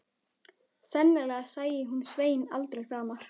Sennilega sæi hún Svein aldrei framar.